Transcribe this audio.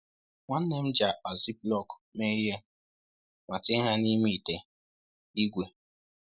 Nwanne m ji akpa ziplock mee ihe, ma tinye ha n’ime ite ígwè.